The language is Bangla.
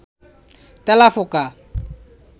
তেলাপোকা